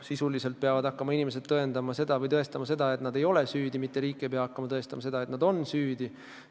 Sisuliselt peavad inimesed hakkama tõendama, et nad ei ole süüdi, mitte riik ei pea hakkama tõendama seda, et nad on süüdi.